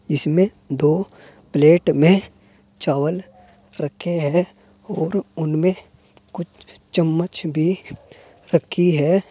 इसमें दो प्लेट में चावल रखे हैं और उनमें कुछ चम्मच भी रखी है।